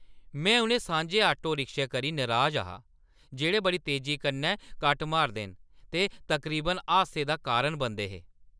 में उ'नें सांझे आटोएं करी नराज हा जेह्ड़े बड़ी तेजी कन्नै कट्ट मारदे न ते तकरीबन हादसे दा कारण बनदे हे।